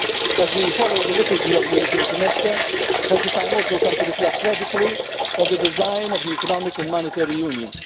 As we follow the liturgy of the European semester, has the time also come to reflect radically on the design of the Economic and Monetary Union?